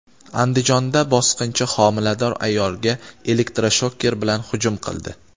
Andijonda bosqinchi homilador ayolga elektroshoker bilan hujum qildi.